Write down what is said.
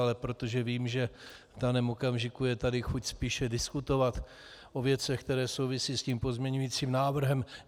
Ale protože vím, že v daném okamžiku je tady chuť spíše diskutovat o věcech, které souvisí s tím pozměňujícím návrhem...